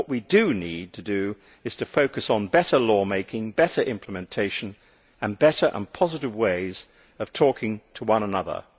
What we do need to do is to focus on better law making, better implementation and better and positive ways of talking to one another.